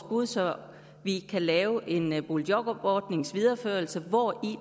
bud så vi kan lave en videreførelse af boligjobordningen hvori